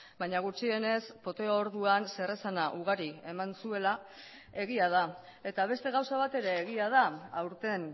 baina gutxienez poteo orduan zeresana ugari eman zuela egia da eta beste gauza bat ere egia da aurten